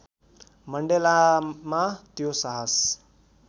मण्डेलामा त्यो साहस